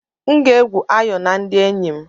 M ga-egwu ayò na ndị enyi m.